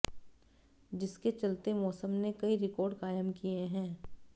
जिसके चलते मौसम ने कई रिकॉर्ड कायम किए हैं